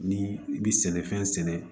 Ni i bi sɛnɛfɛn sɛnɛ